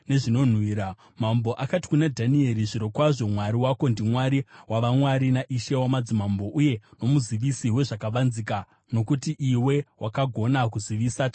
Mambo akati kuna Dhanieri, “Zvirokwazvo Mwari wako ndiMwari wavamwari naIshe wamadzimambo uye nomuzivisi wezvakavanzika, nokuti iwe wakagona kuzivisa chakavanzika ichi.”